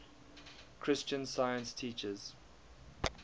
christian science teaches